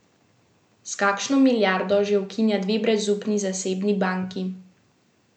S kakšno milijardo že ukinja dve brezupni zasebni banki.